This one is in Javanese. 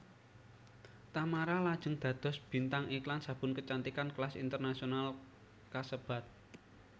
Tamara lajeng dados bintang iklan sabun kecantikan kelas internasional kasebat